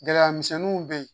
Gɛlɛya misɛnninw bɛ yen